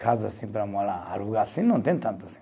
Casas assim para morar, alugar assim, não tem tanto assim.